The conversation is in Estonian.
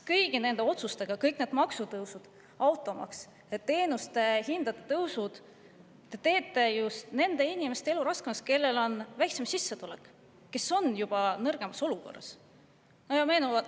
Kõigi nende otsustega – maksutõusud, automaks, teenuste hindade tõus – te teete just nende inimeste elu raskemaks, kellel on väiksem sissetulek, kes on juba olukorras.